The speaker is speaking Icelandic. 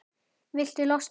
Viltu losna-?